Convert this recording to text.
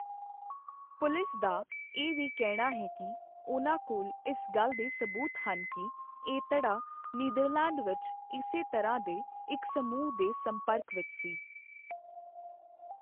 Police ਦਾ ਇਹ ਵੀ ਕਹਿਣਾ ਹੈ ਕਿ, ਉਹਨਾਂ ਕੋਲ ਇਸ ਗੱਲ ਦੇ ਸਬੂਤ ਹਨ ਕਿ, ਇਹ ਧੜਾ ਨੀਦਰਲੈਂਡ ਵਿੱਚ ਇਸੇ ਤਰ੍ਹਾਂ ਦੇ ਇੱਕ ਸਮੂਹ ਦੇ ਸੰਪਰਕ ਵਿੱਚ ਸੀ।